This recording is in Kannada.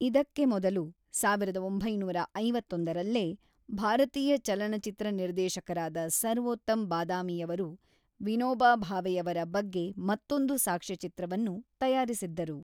ಇದಕ್ಕೆ ಮೊದಲು, ೧೯೫೧ರಲ್ಲೇ , ಭಾರತೀಯ ಚಲನಚಿತ್ರ ನಿರ್ದೇಶಕರಾದ ಸರ್ವೋತ್ತಮ್ ಬಾದಾಮಿಯವರು ವಿನೋಬಾ ಭಾವೆಯವರ ಬಗ್ಗೆ ಮತ್ತೊಂದು ಸಾಕ್ಷ್ಯಚಿತ್ರವನ್ನು ತಯಾರಿಸಿದ್ದರು.